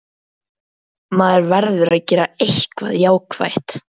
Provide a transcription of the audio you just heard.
Maður verður að gera eitthvað jákvætt.